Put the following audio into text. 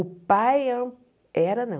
O pai era era não.